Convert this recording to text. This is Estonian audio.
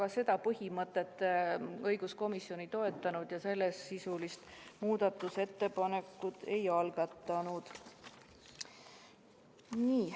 Aga seda põhimõtet õiguskomisjon ei toetanud ja sellesisulist muudatusettepanekut ei algatanud.